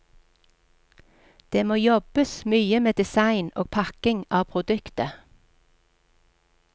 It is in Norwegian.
Det må jobbes mye med design og pakking av produktet.